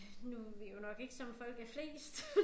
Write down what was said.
Nu vi jo nok ikke som folk er flest